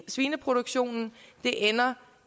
svineproduktionen ender